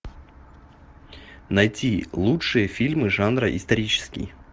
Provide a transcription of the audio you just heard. найти лучшие фильмы жанра исторический